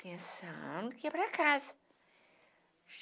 pensando que ia para casa.